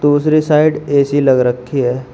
दूसरी side AC लग रखी है।